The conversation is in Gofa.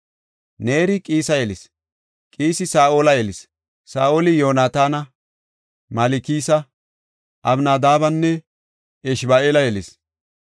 Neeri Qiisa yelis; Qiisi Saa7ola yelis. Saa7oli Yoonataana, Malkisa, Abinadaabenne Eshba7aala yelis.